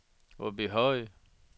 Åbyhøj